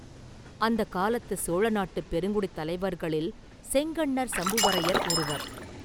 அந்தக் காலத்துச் சோழ நாட்டுப் பெருங்குடித் தலைவர்களில் செங்கண்ணர் சம்புவரையர் ஒருவர்.